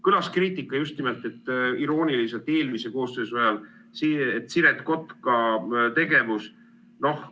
Kõlas kriitika just nimelt irooniliselt eelmise koosseisu ajal Siret Kotka tegevuse kohta.